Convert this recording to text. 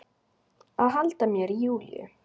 Að halda mér í Júlíu.